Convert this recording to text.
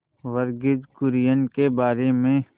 वर्गीज कुरियन के बारे में